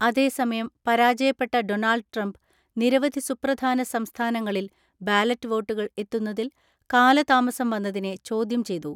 അതേസമയം പരാജയപ്പെട്ട Donald Trump നിരവധി സുപ്രധാന സംസ്ഥാനങ്ങളിൽ ബാലറ്റ് വോട്ടുകൾ എത്തുന്നതിൽ കാലതാമസം വന്നതിനെ ചോദ്യം ചെയ്തു.